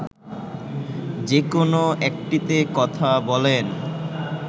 যেকোন একটিতে কথা বলেন